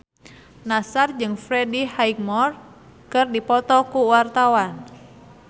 Nassar jeung Freddie Highmore keur dipoto ku wartawan